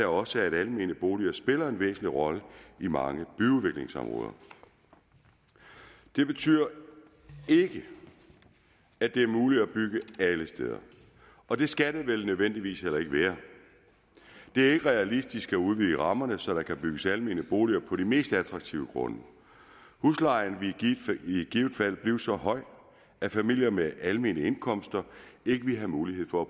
også at almene boliger spiller en væsentlig rolle i mange byudviklingsområder det betyder ikke at det er muligt at bygge alle steder og det skal det vel nødvendigvis være det er ikke realistisk at udvide rammerne så der kan bygges almene boliger på de mest attraktive grunde huslejen ville i givet fald blive så høj at familier med almindelige indkomster ikke ville have mulighed for at